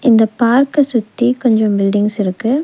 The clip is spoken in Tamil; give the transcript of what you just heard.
இந்த பார்க்க சுத்தி கொஞ்சம் பில்டிங்ஸ் இருக்கு.